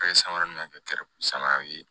Ka ye samara min ka kɛ samaraw ye